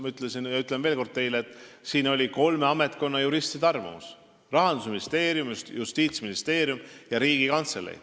Ma ütlen teile veel kord, et oli olemas kolme ametkonna juristide arvamus: Rahandusministeerium, Justiitsministeerium ja Riigikantselei.